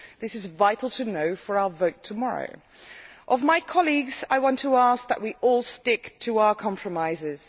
This is vital to know for our vote tomorrow. Of my colleagues, I want to ask that we all stick to our compromises.